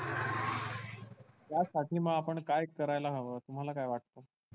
त्या साठी मग आपण काय करायला हवं तुम्हाला काय वाटतं?